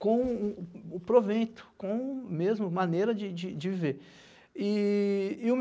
com o provento, com a mesma maneira de de viver. E e o